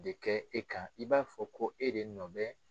De kɛ e kan i b'a fɔ ko e de nɔ bɛ